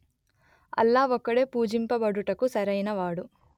అల్లాహ్ ఒక్కడే పూజింపబడుటకు సరియైనవాడు